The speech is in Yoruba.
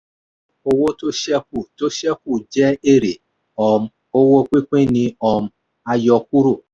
owó tó ṣẹ̀kù tó ṣẹ̀kù jẹ́ èrè – um owó pínpín ni um a yọ kúrò.